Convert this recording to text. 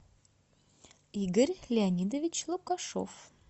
игорь леонидович лукашов